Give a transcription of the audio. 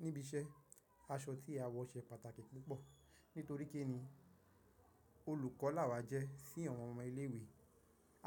Níbi iṣẹ́, aṣọ tí a wọ ṣe pàtàkì púpọ̀. Nítorí kí ni olùkọ́ láwa jẹ́ sí àwọn ọmọ ilé ìwé.